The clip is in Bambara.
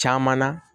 Caman na